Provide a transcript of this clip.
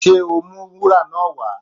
Ṣé o ó mú wúrà náà wá?